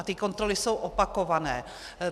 A ty kontroly jsou opakované.